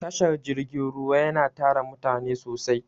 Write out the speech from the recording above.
Tashar jirgin ruwa yana tara mutane sosai.